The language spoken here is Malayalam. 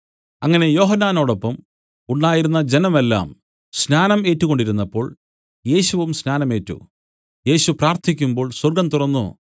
അങ്ങനെ യോഹന്നാനോടൊപ്പം ഉണ്ടായിരുന്ന ജനം എല്ലാം സ്നാനം ഏറ്റുകൊണ്ടിരുന്നപ്പോൾ യേശുവും സ്നാനം ഏറ്റു യേശു പ്രാർത്ഥിക്കുമ്പോൾ സ്വർഗ്ഗം തുറന്നു